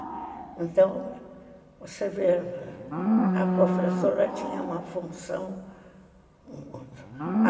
Então, você vê, a professora tinha uma função.